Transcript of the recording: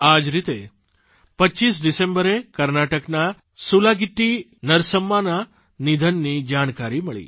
આ જ રીતે 25 ડિસેમ્બરે કર્ણાટકનાં સુલાગિટ્ટી નરસમ્માના નિધનની જાણકારી મળી